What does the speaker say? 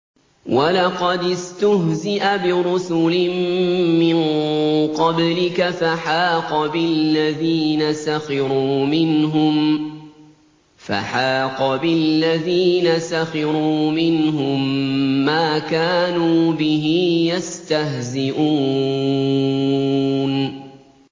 وَلَقَدِ اسْتُهْزِئَ بِرُسُلٍ مِّن قَبْلِكَ فَحَاقَ بِالَّذِينَ سَخِرُوا مِنْهُم مَّا كَانُوا بِهِ يَسْتَهْزِئُونَ